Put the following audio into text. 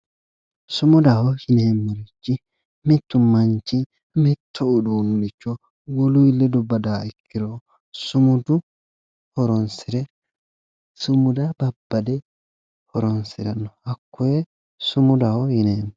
Sumudaho yineemo richi mittu manichi mitto uduunicho woluyi ledo badawo ikkiro sumuda horonisire sumuda babbade horonisiranno hakkoye sumudaho yineemo